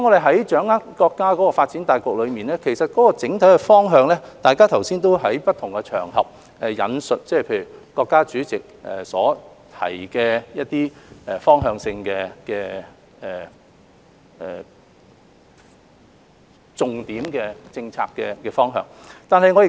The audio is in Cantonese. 在掌握國家發展大局的整體方向時，大家剛才也引述國家主席在不同場合提到的一些重點政策的方向。